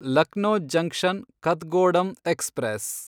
Lucknow junction Kathgodam express